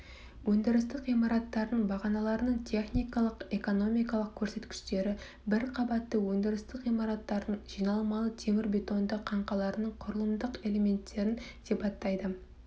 өндірістік ғимараттардың бағаналарының техникалық экономикалық көрсеткіштері бір қабатты өндірістік ғимараттардың жиналмалы темірбетонды қаңқаларының құрылымдық элементтерін сипаттайды